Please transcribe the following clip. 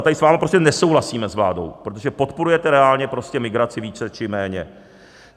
A tady s vámi prostě nesouhlasíme, s vládou, protože podporujete reálně prostě migraci více či méně.